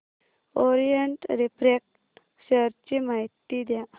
Orient refract share ची माहिती द्या